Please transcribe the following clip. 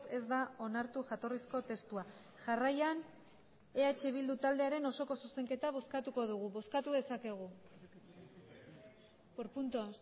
ez da onartu jatorrizko testua jarraian eh bildu taldearen osoko zuzenketa bozkatuko dugu bozkatu dezakegu por puntos